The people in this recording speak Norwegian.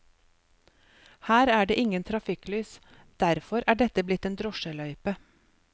Her er det ingen trafikklys, derfor er dette blitt en drosjeløype.